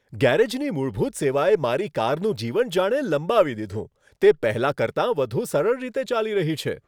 ગેરેજની મૂળભૂત સેવાએ મારી કારનું જીવન જાણે લંબાવી દીધું, તે પહેલાં કરતા વધુ સરળ રીતે ચાલી રહી છે!